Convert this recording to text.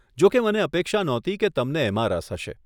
જોકે મને અપેક્ષા નહોતી કે તમને એમાં રસ હશે.